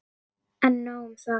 En nóg um það.